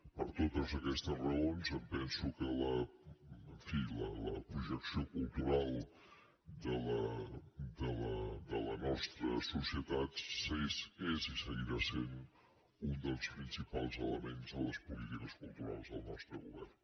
per totes aquestes raons em penso que en fi la projecció cultural de la nostra societat és i seguirà sent un dels principals elements a les polítiques culturals del nostre govern